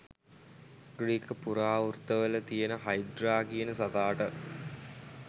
Greek පුරාවෘත්තවල තියෙන Hydra කියන සතාට